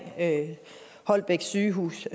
holbæk sygehus